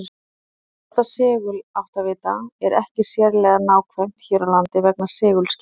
Að nota seguláttavita er ekki sérlega nákvæmt hér á landi vegna segulskekkju.